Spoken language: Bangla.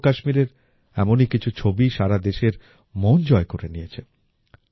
জম্মু ও কাশ্মীরের এমনই কিছু ছবি সারা দেশের মন জয় করে নিয়েছে